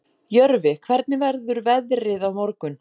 Jörfi, hvernig verður veðrið á morgun?